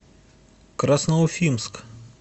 красноуфимск